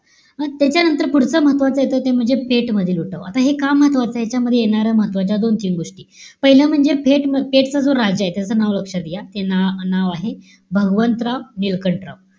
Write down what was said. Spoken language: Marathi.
त्याच्यानंतर पुढचं महत्वाच येत ते म्हणजे, पेठ मधील उठाव. आता हे का महत्वाचय? यांच्यामध्ये येणाऱ्या महत्वाच्या दोन-तीन गोष्टी. पाहिलं म्हणजे फेट पेठ चा जो राजाय, त्याच नाव लक्षात घ्या. ते ना नाव आहे, भगवंतराव निळकंठराव,